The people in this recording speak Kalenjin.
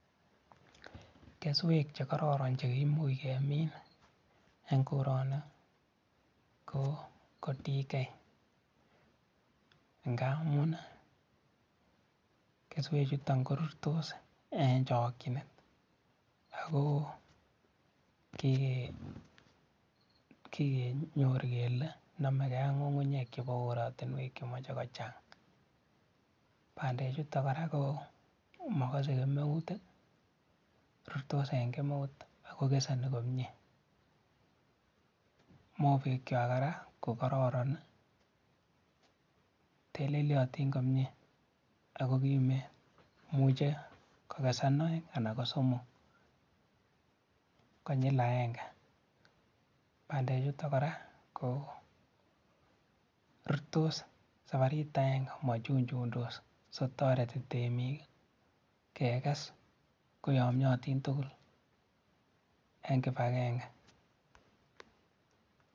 Keswek chekororon chekimuuch kemin en koroni ko DK ng'amun keswechuton korurtos en chokyinet akoo kikenyor kelee nomekee ak ng'ung'unyek korotinwek chemoche kochang, bandechuton kora ko mokosee kemeut, rurtos en kemeut ak ko keseni komnyee, mobekwak kora ko kororon teleliotin komiee ak ko kimeen, imuche kokesen oeng anan ko somok konyil akeng'e, bandechuton kora ko rurtos sabarit akeng'e mochuchundos soo kotoreti temiik kekes koyomnyotin tukul en kibakenge.